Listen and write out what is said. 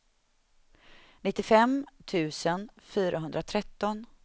nittiofem tusen fyrahundratretton